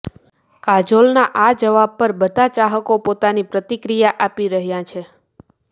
કાજોલના આ જવાબ પર બધા ચાહકો પોતાની પ્રતિક્રિયા આપી રહ્યા છે